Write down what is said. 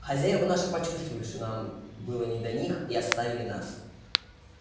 хозяева наши почувствовали что нам было не до них и оставили нас